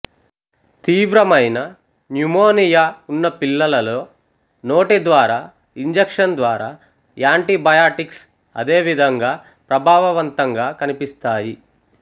తీవ్రమైన న్యుమోనియా ఉన్న పిల్లలలో నోటి ద్వారా ఇంజెక్షన్ ద్వారా యాంటీబయాటిక్స్ అదేవిధంగా ప్రభావవంతంగా కనిపిస్తాయి